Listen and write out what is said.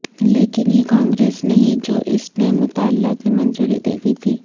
لیکن یہ کانگریس نہیں جو اس نے مطالعہ کی منظوری دے دی تھی